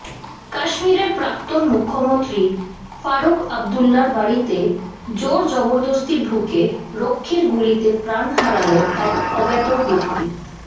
কাশ্মীরের প্ৰাক্তন মুখ্যমন্ত্ৰী ফারুক আবদুল্লার বাড়িতে জোরজবরদস্তি ঢুকে রক্ষীর গুলিতে প্ৰাণ হারাল এক অজ্ঞাত ব্যক্তি